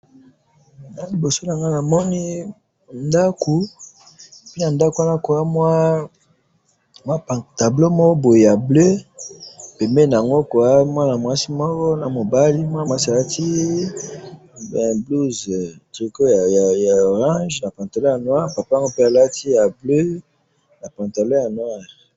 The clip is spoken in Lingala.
awa liboso nanga namoni ndaku pe na ndaku wana koza mwa pancarte moko ya bleu pembeni yango koza mwana mwasi moko boye naya mwasi alati tricot ya rouge na pantalon ya noir papa yango pe alati tricot ya bleu na pantalon ya noir.